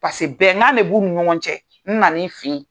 Paseke bɛnkan de b'u ni ɲɔgɔn cɛ n na n'i fɛ ye.